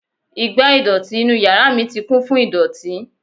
Igbá ìdọ̀tí inú yàrá mi ti kún fún ìdọ̀tí.